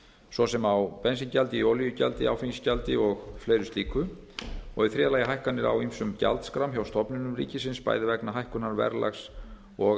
svo sem á bensíngjaldi olíugjaldi áfengisgjaldi og fleira slíku og í þriðja lagi hækkanir á ýmsum gjaldskrám hjá stofnunum ríkisins bæði vegna hækkunar verðlags og